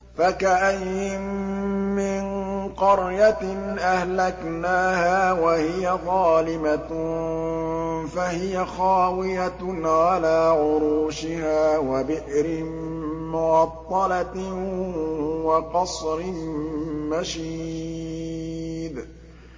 فَكَأَيِّن مِّن قَرْيَةٍ أَهْلَكْنَاهَا وَهِيَ ظَالِمَةٌ فَهِيَ خَاوِيَةٌ عَلَىٰ عُرُوشِهَا وَبِئْرٍ مُّعَطَّلَةٍ وَقَصْرٍ مَّشِيدٍ